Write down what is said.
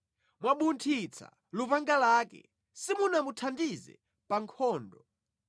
Mwabunthitsa lupanga lake, simunamuthandize pa nkhondo.